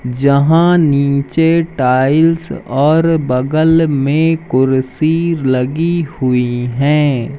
यहां नीचे टाइल्स और बगल में कुर्सी लगी हुई हैं।